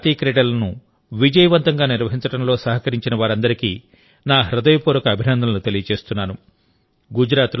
గుజరాత్లో జరిగిన జాతీయ క్రీడలను విజయవంతంగా నిర్వహించడంలో సహకరించిన వారందరికీ నా హృదయపూర్వక అభినందనలు తెలియజేస్తున్నాను